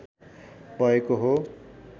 भएको हो